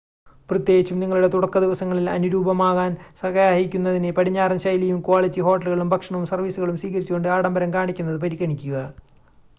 പ്രത്യേകിച്ചും നിങ്ങളുടെ തുടക്കദിവസങ്ങളിൽ അനുരൂപമാകാൻ സഹായിക്കുന്നതിന് പടിഞ്ഞാറൻ ശൈലിയും ക്വാളിറ്റി ഹോട്ടലുകളും ഭക്ഷണവും സർവീസുകളും സ്വീകരിച്ചുകൊണ്ട് ആഡംഭരം കാണിക്കുന്നത് പരിഗണിക്കുക